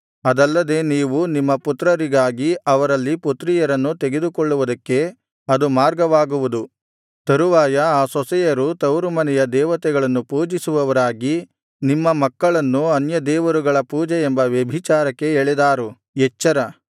ಅದಲ್ಲದೆ ನೀವು ನಿಮ್ಮ ಪುತ್ರರಿಗಾಗಿ ಅವರಲ್ಲಿ ಪುತ್ರಿಯರನ್ನು ತೆಗೆದುಕೊಳ್ಳುವುದಕ್ಕೆ ಅದು ಮಾರ್ಗವಾಗುವುದು ತರುವಾಯ ಆ ಸೊಸೆಯರು ತವರುಮನೆಯ ದೇವತೆಗಳನ್ನು ಪೂಜಿಸುವವರಾಗಿ ನಿಮ್ಮ ಮಕ್ಕಳನ್ನೂ ಅನ್ಯದೇವರುಗಳ ಪೂಜೆ ಎಂಬ ವ್ಯಭಿಚಾರಕ್ಕೆ ಎಳೆದಾರು ಎಚ್ಚರ